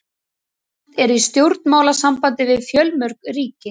Ísland er í stjórnmálasambandi við fjölmörg ríki.